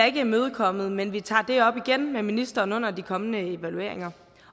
ikke imødekommet men vi tager det op igen med ministeren under de kommende evalueringer